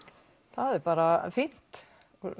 það er bara fínt